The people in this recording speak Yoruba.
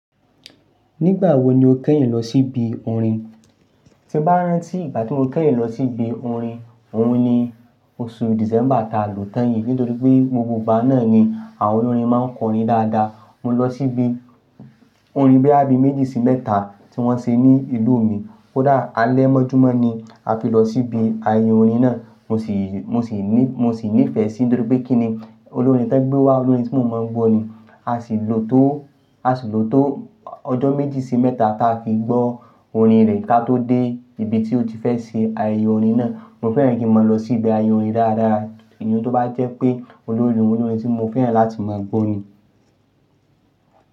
Nígbà wo ni o kẹ́yìn lọ sí ibi orin? Tí bá rán tí ìgbà tí mo kẹ́yìn lọ sí ibi orin, òun ni oṣù December ta lò tan yìn nítorí pé gbogbo ìgbà náà ni àwọn olórin máa ń kọrin dáadáa. Mo lọ sí ibi orin boya bí méjì sí mẹ́ta tí wọ́n ṣe ní ìlú mi. Ko dá alẹ́ mọ́júmọ́ ni a fi lọ sí ibi ayẹyẹ orin náà. Mo sì, mo sì ní, mo sì nífẹ̀ẹ́ sí nítorí pé kí ni olórin tí wọ́n gbé wá, olórin tí mo mọ̀ ń gbọ́ ni. A sì lò tó, a sì lò tó ọjọ́ méjì sí mẹ́ta ta fi gbọ́ orin rẹ̀ ká tó dé ibi tí ó ti fẹ́ ṣe ayẹyẹ orin náà. Mo fẹ́ràn kí n máa lọ sí ibi ayẹyẹ orin dáadáa. Ẹni tí ó bá jẹ́ pé olórin, olórin tí mo fẹ́ràn láti máa gbọ́ orin.